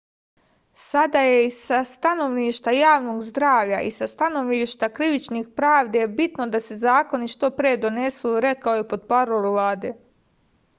sada je i sa stanovišta javnog zdravlja i sa stanovišta krivične pravde bitno da se zakoni što pre donesu rekao je portparol vlade